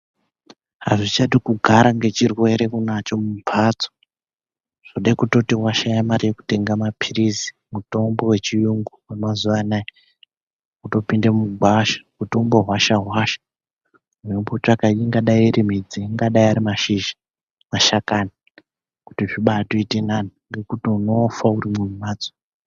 Azvichadi kugara ngechirwere nacho mumpatso zvode kuti washaya mare yekutenga mapirizi, mutombo wechiyungu wemazuwa anaa wotopinda mugwasha wotombohwasha hwasha weimbotsvaka ingadei iri midzi, angadei ari mashizha, mashakani kuti zvimboite nani, ngekuti unofa urimwo mumhatso.